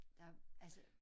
Der altså